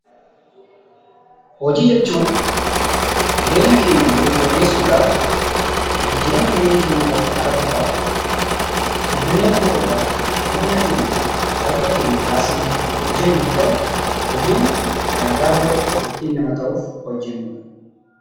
Hojii jechuun jireenya keenya borii fooyyessuudhaaf, jijjiirama jireenya keenya irratti arguudhaaf, guddanne nama ta'uudhaaf humnaakeenyaaf dafqa keenya baasnee kan hojjennu yoo ta'e, hojiin dalagaa bor nama ta'uuf ittii hojjennudha.